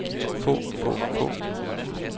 få få få